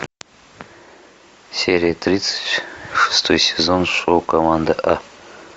серия тридцать шестой сезон шоу команда а